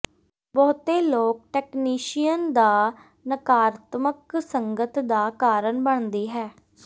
ਬਹੁਤੇ ਲੋਕ ਟੈਕਨੀਸ਼ੀਅਨ ਦਾ ਨਕਾਰਾਤਮਕ ਸੰਗਤ ਦਾ ਕਾਰਨ ਬਣਦੀ ਹੈ